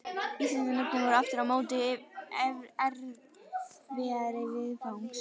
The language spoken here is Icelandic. Íslensku nöfnin voru aftur á móti erfiðari viðfangs.